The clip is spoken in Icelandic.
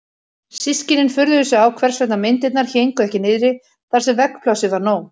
Systkinin furðuðu sig á hvers vegna myndirnar héngu ekki niðri þar sem veggplássið var nóg.